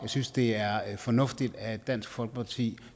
synes det er fornuftigt at dansk folkeparti